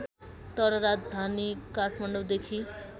तर राजधानी काठमाडौँदेखि